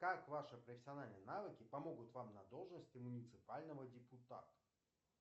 как ваши профессиональные навыки помогут вам на должности муниципального депутата